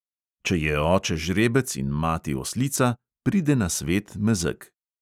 Če je oče žrebec in mati oslica, pride na svet mezeg.